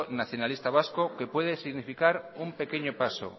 nacionalista vasco que puede significar un pequeño paso